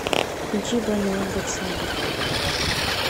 включи баниодбек сайдов